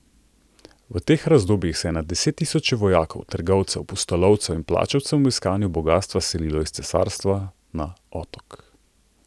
V teh razdobjih se je na desettisoče vojakov, trgovcev, pustolovcev in plačancev v iskanju bogastva selilo iz cesarstva na otok.